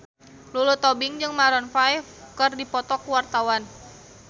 Lulu Tobing jeung Maroon 5 keur dipoto ku wartawan